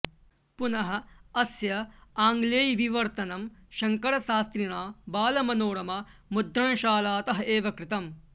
पुनः अस्य आङ्गलेयविवर्तनं शङ्करशास्त्रिणा बालमनोरमा मुद्रणशालातः एव कृतम्